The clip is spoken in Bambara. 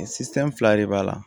Sifɛn fila de b'a la